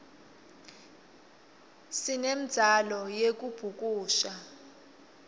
sinemdzalo yekubhukusha